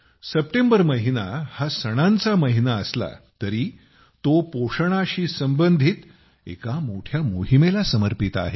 September महिना हा सणांचा महिना असला तरी तो पोषणाशी संबंधित एका मोठ्या मोहीमेला समर्पित आहे